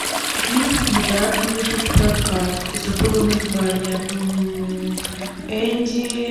фильм недавно вышел в прокат забыла название энди